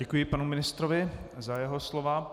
Děkuji panu ministrovi za jeho slova.